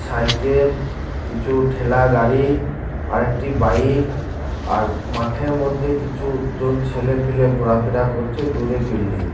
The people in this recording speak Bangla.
সাইকেল কিছু ঠেলা গাড়ি আর একটি বাইক আর মাঠের মধ্যে কিছু জন ছেলে পেলে ঘোরাফেরা করছে দূরে বিল্ডিং